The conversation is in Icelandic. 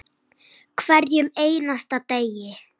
Hverjum einasta degi.